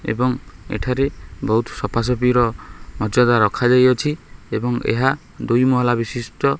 ଏବଂ ଏଠାରେ ବୋହୁତ ସଫାସଫି ର ମର୍ଯ୍ୟାଦା ରଖାଯାଇଅଛି ଏବଂ ଏହା ଦୁଇ ମହଲା ବିଶିଷ୍ଟ --